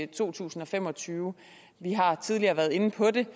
to tusind og fem og tyve vi har tidligere været inde på det